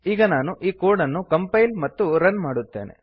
ಈಗ ನಾನು ಈ ಕೋಡ್ ಅನ್ನು ಕಂಪೈಲ್ ಮತ್ತು ರನ್ ಮಾಡುತ್ತೇನೆ